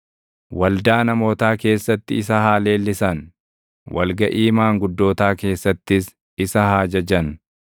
Waldaa namootaa keessatti isa haa leellisan; wal gaʼii maanguddootaa keessattis isa haa jajan.